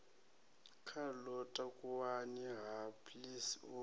khalo takuwani ha please u